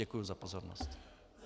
Děkuji za pozornost.